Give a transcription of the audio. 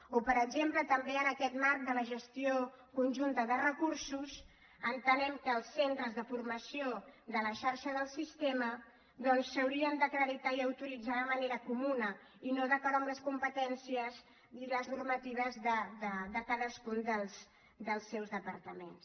o per exemple també en aquest marc de la gestió conjunta de recursos entenem que els centres de formació de la xarxa del sistema s’haurien d’acreditar i autoritzar de manera comuna i no d’acord amb les competències ni les normatives de cadascun dels seus departaments